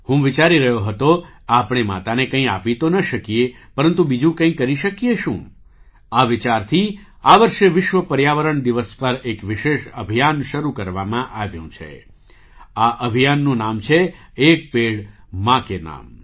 હું વિચારી રહ્યો હતો આપણે માતાને કંઈ આપી તો ન શકીએ પરંતુ બીજું કંઈ કરી શકીએ શું આ વિચારથી આ વર્ષે વિશ્વ પર્યાવરણ દિવસ પર એક વિશેષ અભિયાન શરૂ કરવામાં આવ્યું છે આ અભિયાનનું નામ છે - 'એક પેડ માં કે નામ'